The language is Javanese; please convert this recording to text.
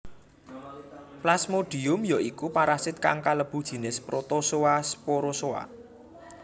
Plasmodium ya iku parasit kang kalebu jinis protozoa sporozoa